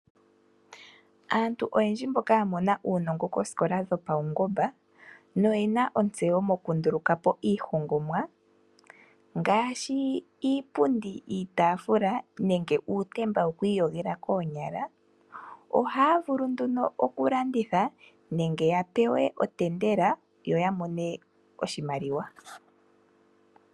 Aantu oyendji mboka ya mona uunongo koosikola dhopaungomba no yena ontseyo mokundulu kapo iihongomwa ngaashi iipundi, iitaafula nenge uutemba gokwiiyogela koonyala ohaya vulu nduno oku landitha nenge ya pewe otendela yo ya mone oshimaliwa.